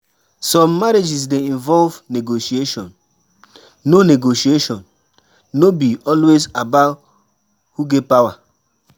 Some marriages dey involve negotiation; no negotiation; no be always about who get power.